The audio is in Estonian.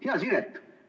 Hea Siret!